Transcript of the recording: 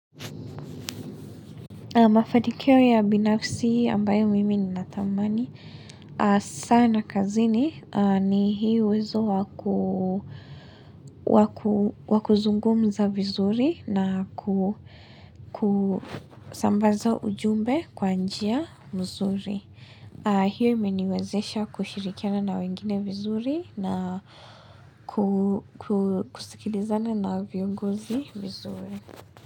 Mafanikio ya binafsi ambayo mimi nina tamani. Sana kazini ni hii uwezo wakuzungumza vizuri na kusambaza ujumbe kwa njia vizuri. Hio imeniwezesha kushirikiana na wengine vizuri na kusikilizana na viongozi vizuri.